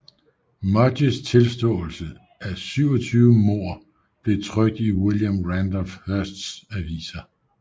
Mudgetts tilståelse af 27 mord blev trykt i William Randolph Hearsts aviser